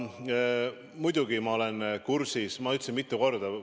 Muidugi olen ma kursis, ma ütlesin seda mitu korda.